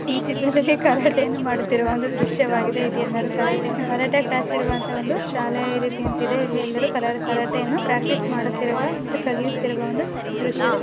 ಈ ಚಿತ್ರದಲ್ಲಿ ಕರಾಟೆಯನ್ನು ಮಾಡುತ್ತಿರುವ ಒಂದು ದ್ರಶ್ಯವಾಗಿದೆ ಇದೆಲ್ಲರೂ ಕರಾಟೆಯನ್ನು ಕರಾಟೆಯ ಕ್ಲಾಸ್ ಇರುವಂತಹ ಒಂದು ಶಾಲೆಯ ರೀತಿ ಎಂತಿದೆ ಇಲ್ಲಿ ಎಲ್ಲರೂ ಕರಾಟೆಯನ್ನು ಪ್ರಾಕ್ಟೀಸ್ ಮಾಡುತ್ತಿರುವ ಮತ್ತು ಕಲಿಯುತ್ತಿರುವ ದೃಶ್ಯದ--